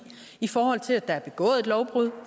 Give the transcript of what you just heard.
i forhold til at der er begået et lovbrud